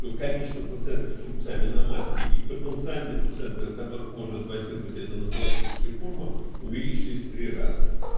то количество пациентов с рубцами на матке и потенциальные пациенты у которых может возникнуть эта нозологическая форма увеличились в три раза